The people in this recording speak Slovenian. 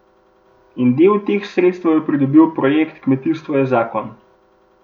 In del teh sredstev je pridobil projekt Kmetijstvo je zakon.